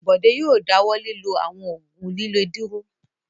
Bọ̀dé yóò dáwọ́ lílo àwọn òògùn líle dúró.